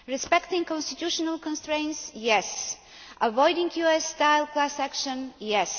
Respecting constitutional constraints yes. Avoiding US style class action yes.